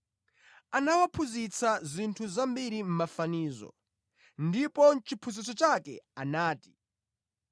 Anawaphunzitsa zinthu zambiri mʼmafanizo, ndipo mʼchiphunzitso chake anati: